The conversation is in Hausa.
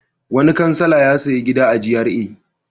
Wani kansila ya sayi gida a GRA.